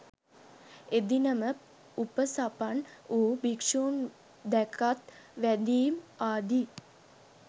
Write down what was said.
එදින ම උපසපන් වූ භික්‍ෂූන් දැකත් වැඳීම් ආදී